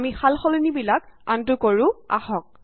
আমি সালসলনিবিলাক আন্ডু কৰো আহক